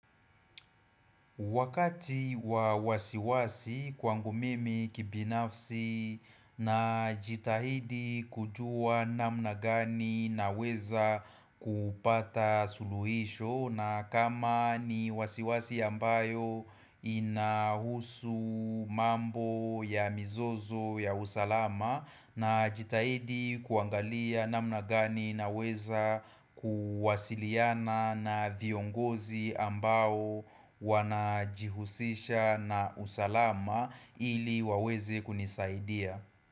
Wakati wa wasiwasi kwangu mimi kibinafsi na jitahidi kujua namna gani naweza kupata suluhisho na kama ni wasiwasi ambayo inahusu mambo ya mizozo ya usalama na jitahidi kuangalia namna gani naweza kuwasiliana na viongozi ambao wanajihusisha na usalama ili waweze kunisaidia.